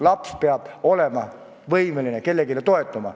Laps peab olema võimeline kellelegi toetuma.